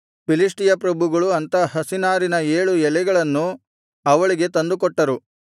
ಫಿಲಿಷ್ಟಿಯ ಪ್ರಭುಗಳು ಅಂಥ ಹಸೀ ನಾರಿನ ಏಳು ಎಳೆಗಳನ್ನು ಅವಳಿಗೆ ತಂದುಕೊಟ್ಟರು